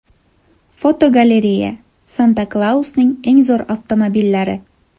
Fotogalereya: Santa Klausning eng zo‘r avtomobillari.